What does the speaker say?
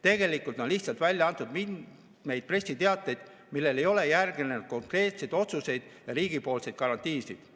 Tegelikult on lihtsalt välja antud mitmeid pressiteateid, millele ei ole järgnenud konkreetseid otsuseid ja riigipoolseid garantiisid.